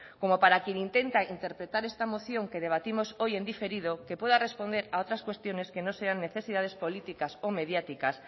como para quien intenta interpretar esta moción que debatimos hoy en diferido que pueda responder a otras cuestiones que no sean necesidades políticas o mediáticas